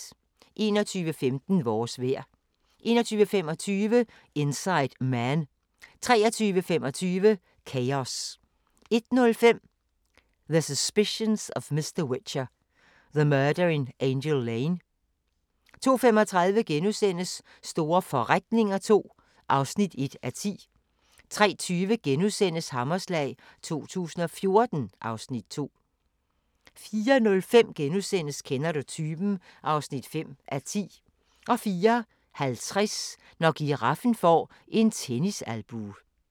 21:15: Vores vejr 21:25: Inside Man 23:25: Chaos 01:05: The Suspicions of Mr Whicher: The Murder in Angel Lane 02:35: Store forretninger II (1:10)* 03:20: Hammerslag 2014 (Afs. 2)* 04:05: Kender du typen? (5:10)* 04:50: Når giraffen får en tennisalbue